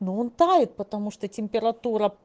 но он тает потому что температура